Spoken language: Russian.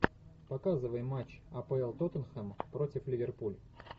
показывай матч апл тоттенхэм против ливерпуль